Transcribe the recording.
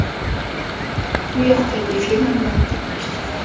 Bu yoqdagi firma bilan gaplashdik.